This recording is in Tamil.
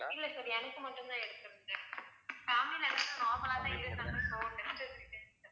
இல்ல sir எனக்கு மட்டும் தான் எடுத்துருக்கு family ல எல்லாரும் normal லா தான் இருந்தாங்க so test